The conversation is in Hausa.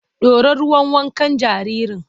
Ɗora ruwan wankan jaririn!